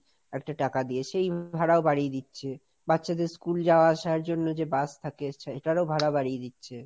একটা টাকা দিয়ে, সেই ভাড়াও বাড়িয়ে দিচ্ছে, বাচ্চাদের স্কুল যাওয়া আসার জন্য যে বাস থাকে, সেটারও ভাড়া বাড়িয়ে দিচ্ছে।